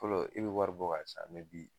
Fɔlɔ i be wari bɔ ka san bi